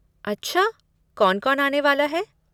अच्छा, कौन कौन आने वाला है?